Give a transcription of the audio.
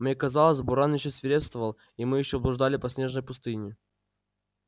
мне казалось буран ещё свирепствовал и мы ещё блуждали по снежной пустыне